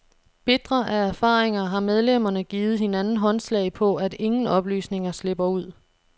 Bitre af erfaringer har medlemmerne givet hinanden håndslag på, at ingen oplysninger slipper ud.